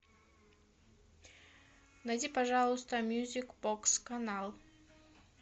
найди пожалуйста мьюзик бокс канал